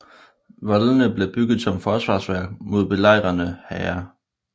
Voldene blev bygget som forsvarsværk mod belejrende hære